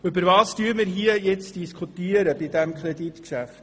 Worüber diskutieren wir nun in diesem Kreditgeschäft?